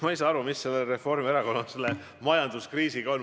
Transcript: Ma ei saa aru, mis Reformierakonnal selle majanduskriisiga on.